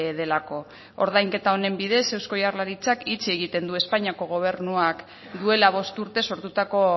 delako ordainketa honen bidez eusko jaurlaritzak itxi egiten du espainiako gobernuak duela bost urte sortutako